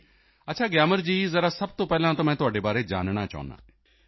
ਅੱਛਾ ਗਿਆਮਰ ਜੀ ਜ਼ਰਾ ਸਭ ਤੋਂ ਪਹਿਲਾਂ ਤਾਂ ਮੈਂ ਤੁਹਾਡੇ ਬਾਰੇ ਜਾਨਣਾ ਚਾਹੁੰਦਾ ਹਾਂ